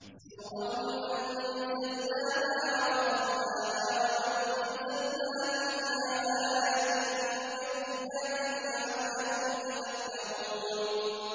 سُورَةٌ أَنزَلْنَاهَا وَفَرَضْنَاهَا وَأَنزَلْنَا فِيهَا آيَاتٍ بَيِّنَاتٍ لَّعَلَّكُمْ تَذَكَّرُونَ